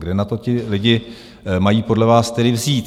Kde na to ti lidé mají podle vás tedy vzít?